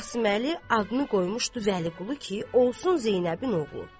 Qasıməli adını qoymuşdu Vəliqulu ki, olsun Zeynəbin oğlu.